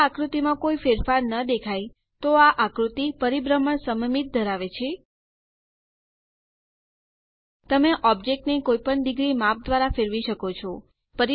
જો આ આકૃતિમાં કોઈ ફેરફાર ન દેખાય તો આ આકૃતિ પરિભ્રમણ સમમિત ધરાવે છે તમે ઓબ્જેક્ટ ને કોઈપણ ડિગ્રી માપ દ્વારા ફરવી શકો છો